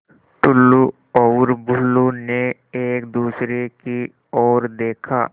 टुल्लु और बुल्लु ने एक दूसरे की ओर देखा